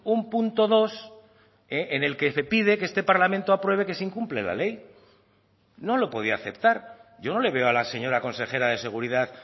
un punto dos en el que se pide que este parlamento apruebe que se incumple la ley no lo podía aceptar yo no le veo a la señora consejera de seguridad